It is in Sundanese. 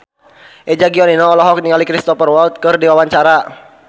Eza Gionino olohok ningali Cristhoper Waltz keur diwawancara